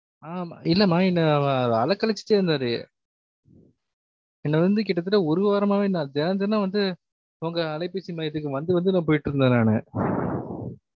ஆமா இல்லமா என்ன அஹ் அலைகழச்சிட்டே இருந்தாரு என்ன வந்து கிட்டத்தட்ட ஒரு வாரமாவே நான் தெனம் தெனம் வந்து உங்க அலைபேசி மையத்துக்கு வந்து வந்து நான் போய்ட்ருந்தன் நானு